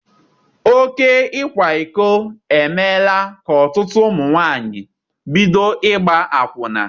Oké ịkwa iko emeela ka ọtụtụ ụmụ nwaanyị bido ịgba akwụna.